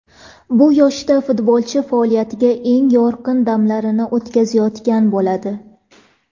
Bu yoshda futbolchi faoliyatidagi eng yorqin damlarini o‘tkazayotgan bo‘ladi.